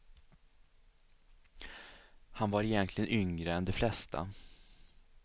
Han var egentligen yngre än de flesta.